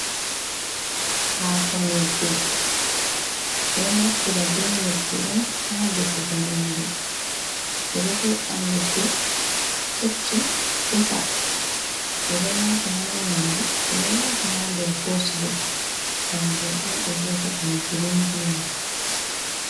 Hako nyebbe ɓeɗo naftira be nyebbe on ha defugo nyamdu, ɓeɗo he’a nyebbe keccum defa, ɓeɗo wata ha nyamdu, ɓeɗo wata ha nder kosulo kanjum on ɓe vi'ata ɗum girinbins.